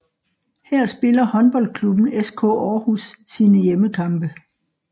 Her spiller håndboldklubben SK Aarhus sine hjemmekampe